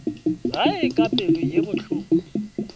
gae ka pelo ye bohloko